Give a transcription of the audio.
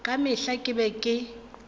ka mehla ke be ke